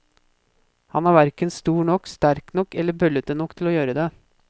Han er hverken stor nok, sterk nok eller bøllete nok til å gjøre det.